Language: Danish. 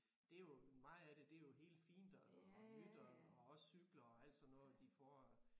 Det jo meget af det det jo helt fint og nyt og også cykler og alt sådan noget de får